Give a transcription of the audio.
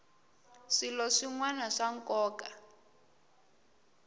swilo swin wana swa nkoka